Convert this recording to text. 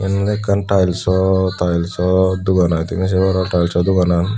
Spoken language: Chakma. yen ole ekkan tylso tylso dogan ai tumi se paror tylso doganan.